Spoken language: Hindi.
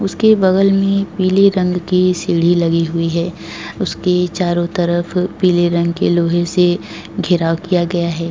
उसके बगल में पीले रंग की सीढ़ी लगी हुई है उसके चारों तरफ पीले रंग के लोहे से घिराव किया गया है।